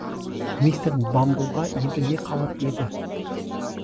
мистер бамблға енді не қалып еді